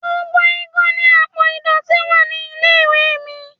Gbogbo igun ni àpò ìdọ̀tí wa nílé-ìwé mi.